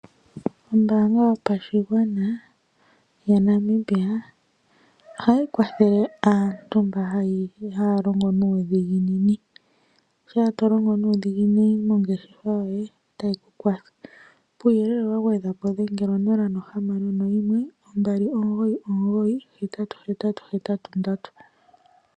Ombaanga yopashigwana yaNamibia ohayi kwathele aantu mba haya longo nuudhiginini, shaa to longo nuudhiginini mongeshefa yoye tayi ku kwatha, kuuyelele wa gwedhwa po dhengela 0612998883.